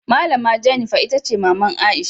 Malama Jennifer Itace maman Aisha.